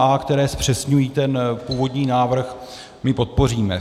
A, které zpřesňují ten původní návrh, my podpoříme.